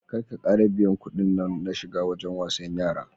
Kar ka biya kuɗin nan na shiga wajen wasan yara.